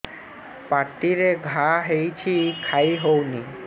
ପାଟିରେ ଘା ହେଇଛି ଖାଇ ହଉନି